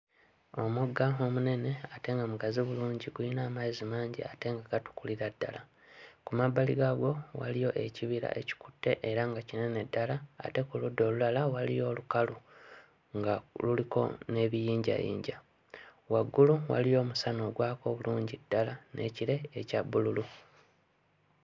Omugga omunene ate nga mugazi bulungi guyina amazzi mangi ate nga gatukulira ddala. Ku mabbali gaagwo waliyo ekibira ekikutte era nga kinene ddala ate ku ludda olulala waliyo olukalu nga luliko n'ebiyinjayinja. Waggulu waliyo omusana ogwaka obulungi ddala n'ekire ekya bbululu.